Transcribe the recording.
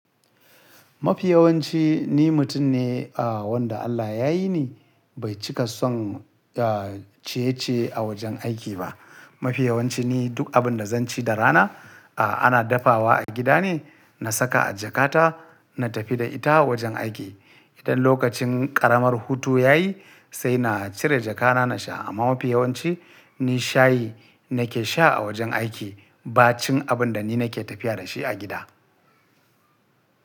Mafi yawanci ni mutum ne, wanda Allah ya yi ni, bai cika son ciye-ciye a wajen aiki ba. Mafi yawanci ni duk abin da zan ci da rana, ah ana dafawa a gida ne, na saka a jakata, na tafi da ita wajen aiki. Idan lokacin ƙaramar hutu ya yi, sai na cire jakana na sha. Amma mafi yawanci ni shayi nake sha a wajen aiki, ba cin abin da ni nake tafiya da shi a gida.